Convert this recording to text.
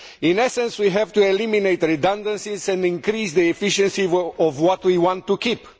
In essence, we have to eliminate redundancies and increase the efficiency of what we want to keep.